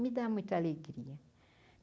Me dá muita alegria.